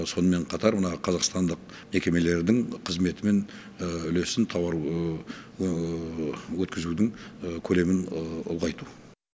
сонымен қатар мына қазақстандық мекемелердің қызметі мен үлесін тауар өткізудің көлемін ұлғайту